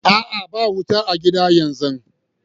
A'a, ba wuta a'gida yanzu.